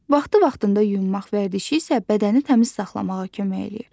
Vaxtı-vaxtında yuyunmaq vərdişi isə bədəni təmiz saxlamağa kömək edir.